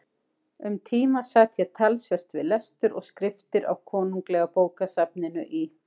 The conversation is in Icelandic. Um tíma sat ég talsvert við lestur og skriftir á Konunglega bókasafninu í